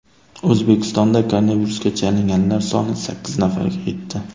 O‘zbekistonda koronavirusga chalinganlar soni sakkiz nafarga yetdi.